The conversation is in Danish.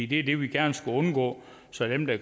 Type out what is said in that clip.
det er det vi gerne skulle undgå så dem der